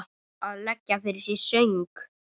Eða leggja fyrir sig söng?